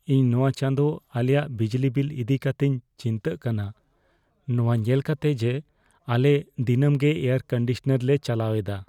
ᱤᱧ ᱱᱚᱶᱟ ᱪᱟᱸᱫᱚ ᱟᱞᱮᱭᱟᱜ ᱵᱤᱡᱞᱤ ᱵᱤᱞ ᱤᱫᱤ ᱠᱟᱛᱮᱧ ᱪᱤᱱᱛᱟᱹᱜ ᱠᱟᱱᱟ, ᱱᱚᱣᱟ ᱧᱮᱞ ᱠᱟᱛᱮᱜ ᱡᱮ ᱟᱞᱮ ᱫᱤᱱᱟᱹᱢ ᱜᱮ ᱮᱭᱟᱨᱼᱠᱚᱱᱰᱤᱥᱚᱱᱟᱨ ᱞᱮ ᱪᱟᱞᱟᱣ ᱮᱫᱟ ᱾